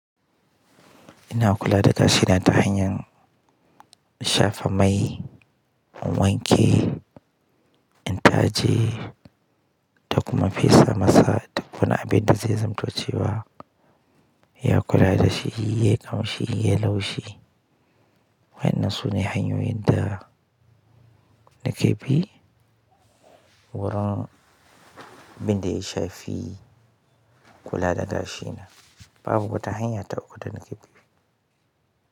Ina kula da gashina ta hanyar shafa mai, in wanke, in taje da kuma fesa masa duk wani abinda zai zamto cewa ya kula dashi, yayi ƙamshi, yayi laushi. Wa'innan sune hanyoyin da nake bi wurin abinda ya shafi kula da gashi na. Babu wata hanya ta uku da nake bi.